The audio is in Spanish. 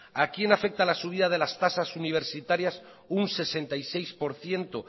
a quién afecta la subida de las tasas universitarias un sesenta y seis por ciento